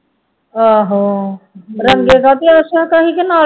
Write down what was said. ਆਹੋ ਰੰਗੇ ਕਾ ਇਸ ਤਰ੍ਹਾਂ